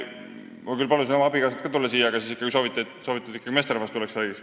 Ma küll palusin oma abikaasal ka siia tulla, aga ikkagi sooviti, et meesterahvas tuleks ja räägiks.